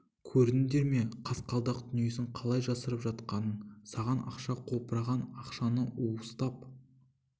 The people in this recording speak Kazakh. көрдіңдер ме қасқалдақ дүниесін қалай жасырып жатқанын саған ақша қопыраған ақшаны уыстап